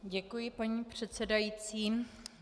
Děkuji, paní předsedající.